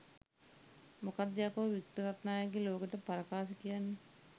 මොකක්ද යකෝ වික්ටර් රත්නායකගේ ලෝකෙට පරකාසේ කියන්නේ.